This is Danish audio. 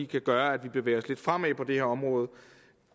kan gøre at vi bevæger os lidt fremad på det her område